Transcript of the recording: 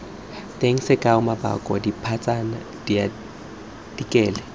teng sekao maboko dipatsana diartikele